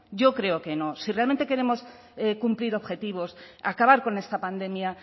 yo creo que no si realmente queremos cumplir objetivos acabar con esta pandemia